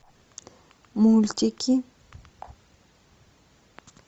мультики